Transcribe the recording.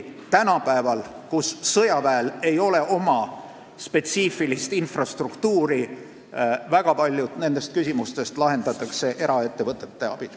Tänapäeval, kui sõjaväel ei ole spetsiifilist infrastruktuuri, lahendatakse väga paljud nendest küsimustest eraettevõtete abil.